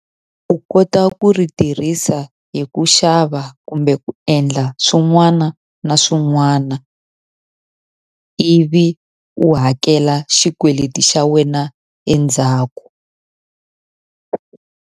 U kota ku ri tirhisa hi ku xava kumbe ku endla swin'wana na swin'wana, ivi u hakela xikweleti xa wena endzhaku.